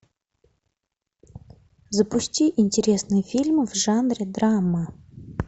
запусти интересные фильмы в жанре драма